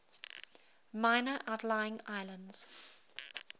minor outlying islands